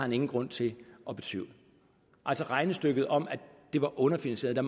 nogen grund til at betvivle altså regnestykket om at det var underfinansieret